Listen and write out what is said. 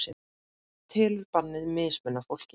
Telur bannið mismuna fólki